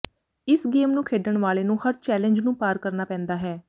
ਇਸ ਗੇਮ ਨੂੰ ਖੇਡਣ ਵਾਲੇ ਨੂੰ ਹਰ ਚੈਲੇਂਜ ਨੂੰ ਪਾਰ ਕਰਨਾ ਪੈਂਦਾ ਹੈ